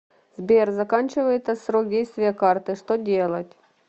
сбер заканчивается срок действия карты что делать